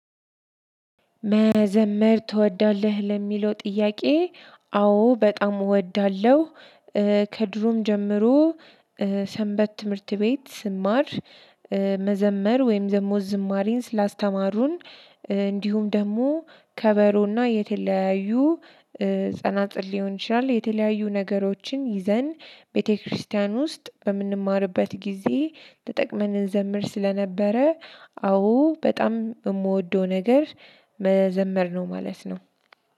መዘመር ትወዳለህ ለሚለው ጥያቄ አዎ በጣም እወዳለሁ። ከድሮም ጀምሮ ሰንበት ትምህርት ቤት ስማር መዘመር ወይም ደሞ ዝማሪን ስላስተማሩን። እንዲሁም ደግሞ ከበሮና የተለያዩ ጸናጽል ሊሆን ይችላል የተለያዩ ነገሮችን ይዘን ቤተክርስቲያን ውስጥ በምንማርበት ጊዜ ተጠቅመን እንዘምር ስለነበረ። አዎ በጣም የምወደው ነገር መዘመር ነው ማለት ነው።